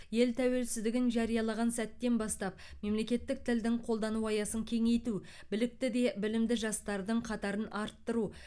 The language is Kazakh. ел тәуелсіздігін жариялаған сәттен бастап мемлекеттік тілдің қолдану аясын кеңейту білікті де білімді жастардың қатарын арттыру